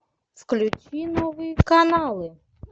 включи новые каналы